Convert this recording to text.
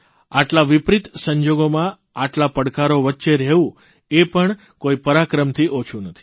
આટલા વિપરિત સંજોગોમાં આટલા પડકારો વચ્ચે રહેવું એ પણ કોઇ પરાક્રમથી ઓછું નથી